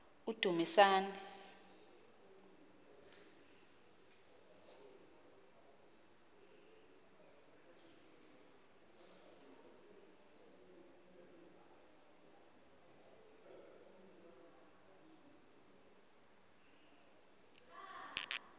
udumisani